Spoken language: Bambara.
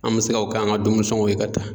An bɛ se ka o k'an ka dumuni sɔngɔn ye ka taa.